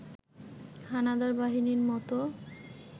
হানাদার বাহিনীর মতো